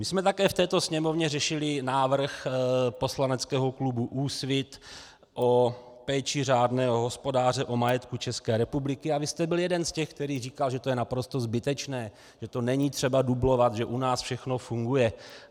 My jsme také v této Sněmovně řešili návrh poslaneckého klubu Úsvit o péči řádného hospodáře o majetek České republiky a vy jste byl jeden z těch, který říkal, že to je naprosto zbytečné, že to není třeba dublovat, že u nás všechno funguje.